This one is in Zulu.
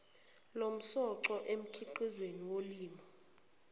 lomsoco emikhiqizweni yolimo